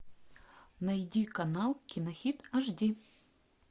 найди канал кинохит аш ди